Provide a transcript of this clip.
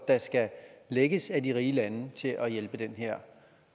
der skal lægges af de rige lande til at hjælpe